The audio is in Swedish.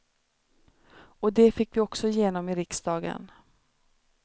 Och det fick vi också igenom i riksdagen.